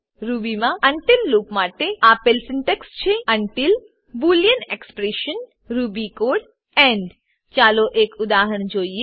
રૂબીમાં until loop માટે આપેલ syntax છે until boolean expression until boolean expression Ruby code Ruby code end end ચાલો એક ઉદાહરણ જોઈએ